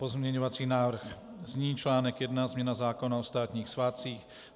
Pozměňovací návrh zní: "Článek I Změna zákona o státních svátcích.